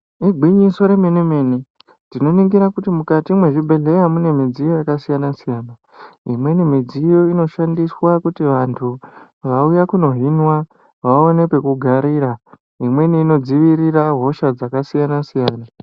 Igwinyiso remene mene tinoningira kuti mukati mwezvibhedhlera mune midziyo yakasiyana siyana. Imweni midziyo inoshandiswa kuti vantu vauya kunohinwa vaone pekugarira. Imweni inodzivirira hosha dzakasiyana siyana.